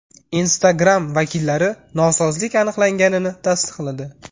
Instagram vakillari nosozlik aniqlanganligini tasdiqladi.